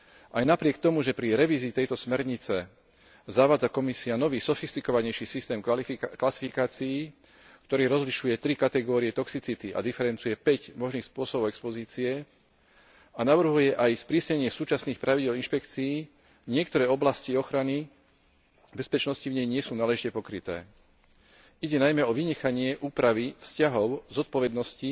Aj napriek tomu, že pri revízii tejto smernice zavádza Komisia nový, sofistikovanejší systém klasifikácií, ktorý rozlišuje tri kategórie toxicity a diferencuje 5 možných spôsobov expozície, a navrhuje aj sprísnenie súčasných pravidiel inšpekcií, niektoré oblasti ochrany bezpečnosti v nej nie sú náležite pokryté. Ide najmä o vynechanie úpravy vzťahov zodpovednosti